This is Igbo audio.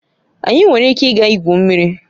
Anyị nwere ike ịga igwu mmiri